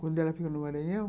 Quando ela ficou no Maranhão.